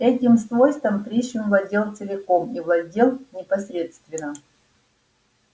этим свойством пришвин владел целиком и владел непосредственно